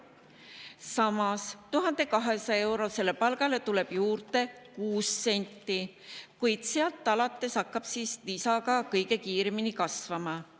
Samas, 1200-eurosele palgale tuleb juurde kuus senti, kuid sealt alates hakkab lisa kõige kiiremini kasvama.